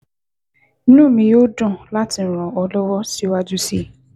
Inú mi yóò dùn láti ràn ọ́ lọ́wọ́ síwájú sí i